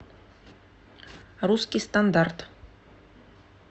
русский стандарт